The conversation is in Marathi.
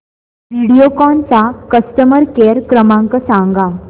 व्हिडिओकॉन चा कस्टमर केअर क्रमांक सांगा